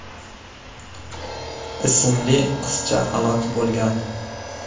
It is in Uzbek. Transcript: ismli qizcha halok bo‘lgan .